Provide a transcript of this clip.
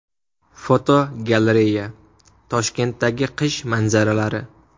Fotogalereya: Toshkentdagi qish manzaralari .